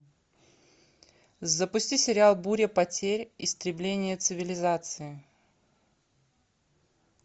запусти сериал буря потерь истребление цивилизации